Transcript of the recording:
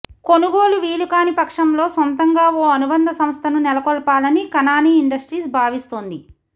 కొనుగోలు వీలుకాని పక్షంలో సొంతంగా ఓ అనుబంధ సంస్థను నెలకొల్పాలని కనాని ఇండస్ట్రీస్ భావిస్తోంది